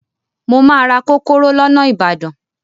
Mo máa ra kókóró lọ́nà Ìbàdàn.